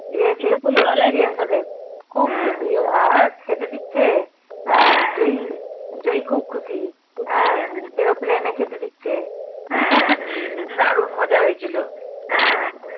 experience ওদের আবার খেতে দিচ্ছে জই খুব খুশি হ্যাঁ aeroplane এ খেতে দিচ্ছে দারুন মজা হৈছিল হ্যাঁ